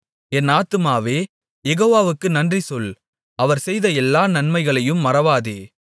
என் ஆத்துமாவே யெகோவாவுக்கு நன்றிசொல் அவர் செய்த எல்லா நன்மைகளையும் மறவாதே